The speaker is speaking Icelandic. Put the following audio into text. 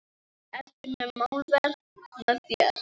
Ertu með málverk með þér?